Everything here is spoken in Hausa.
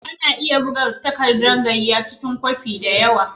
Ana iya buga tagardan gaiya cikin kwafi da yawa.